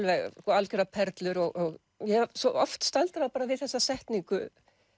algjörar perlur og ég hef svo oft staldrað við þessa setningu